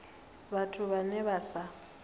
vhathu vhe vha vha sa